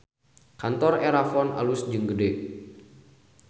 Kantor Erafon alus jeung gede